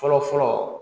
Fɔlɔ fɔlɔ